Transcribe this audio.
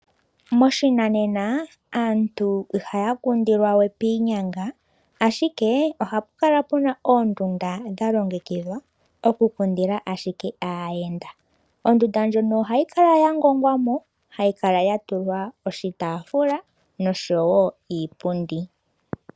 Moshinanena aantu ihaya kundilwa we piinyanga ashike ohapu kala puna oondundu dha longekidhwa oku kundila ashike aayenda. Ondunda ndjono ohayi kala ya ngongwamo ,hayi kala ya tulwa oshitaafula noshowo oshipundi.